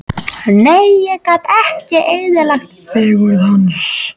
Nei, ég gat ekki eyðilagt fegurð hans.